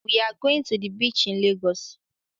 We are going to beach in Lagos.